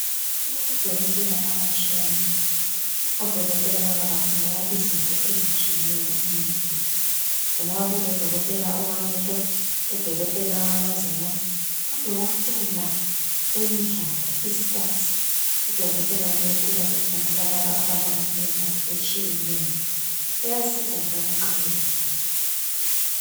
Kulabadokotela abatshiyeneyo. Odokotela laba bakhangela izinto ezitshiyeneyo emuntwini. Kulodokotela wamehlo, udokotela wamazinyo lodokotela wemidlalo (ispotsi). Udokotela lowu uyabe ekhangela laba abadlala imidlalo etshiyeneyo. Uyasiza njalo nxa belimele.